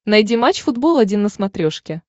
найди матч футбол один на смотрешке